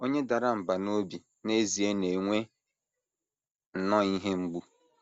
Onye dara mbà n’obi n’ezie na - enwe nnọọ ihe mgbu.